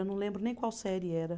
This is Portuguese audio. Eu não lembro nem qual série era.